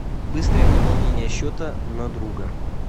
быстрое пополнение счета на друга